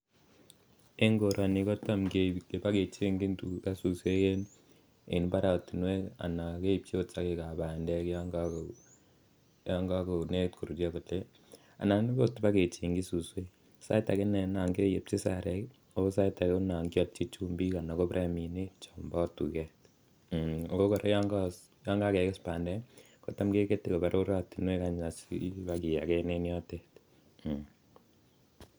En koroni koroni kotam koba kechengchin tuga suswek en mbarenik anan keib chi sogek ab bandek olon negit koruryo anan kobakechengji suswek sait age koba keepchi sarek anan sait kealchin chumbik anan ko bireminik chombo tuget ako kora olon kakeges bandek kegete koba roratinwek asi koba kiyagen en yotet